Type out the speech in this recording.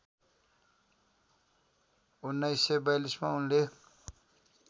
१९४२ मा उनले